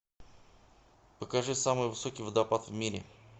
покажи самый высокий водопад в мире